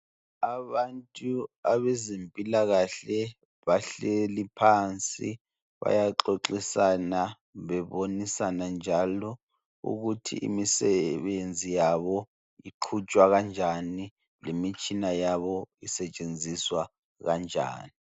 Abantu abezempilakahle bahleli phansi bayaxoxisana bebonisana njalo ukuthi imisebenzi yabo iqhutshwa kanjani lemitshina yabo isetshenziswa kanjani.